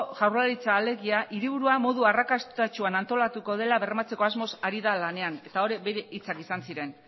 jaurlaritza alegia hiriburua modu arrakastatsuan antolatuko dela bermatzeko asmoz hari da lanean eta hori bere hitzak izan ziren